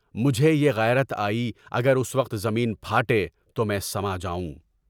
مجھے یہ غیرت آئی، اس وقت زمین پھاٹے تو میں سجاؤں۔